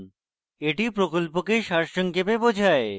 এটি প্রকল্পকে সারসংক্ষেপে বোঝায়